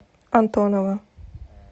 антонова